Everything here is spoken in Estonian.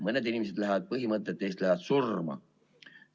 Mõned inimesed lähevad oma põhimõtete eest surma.